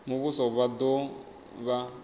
a muvhuso vha do vha